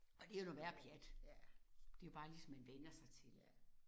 Og det jo noget værre pjat. Det jo bare lige så man vænner sig til